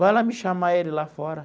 Vai lá me chamar ele lá fora.